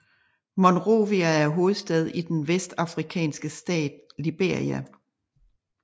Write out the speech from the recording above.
Monrovia er hovedstad i den vestafrikanske stat Liberia